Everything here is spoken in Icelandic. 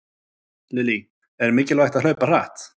Lillý: Er mikilvægt að hlaupa hratt?